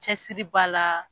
Cɛsiri b'a la.